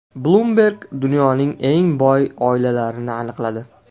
Bloomberg dunyoning eng boy oilalarini aniqladi.